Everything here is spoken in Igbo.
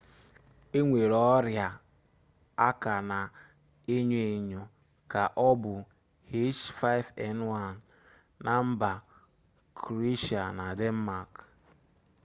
enwere orịa a ka na-enyo enyo ka ọ bụ h5n1na mba kroeshia na denmak